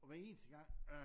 Og hver eneste gang øh